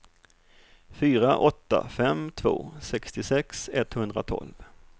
fyra åtta fem två sextiosex etthundratolv